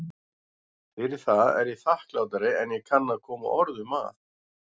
Fyrir það er ég þakklátari en ég kann að koma orðum að.